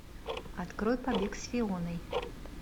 открой побег с фионой